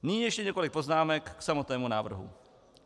Nyní ještě několik poznámek k samotnému návrhu.